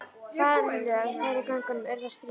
Faðmlög þeirra í göngunum urðu að stríði.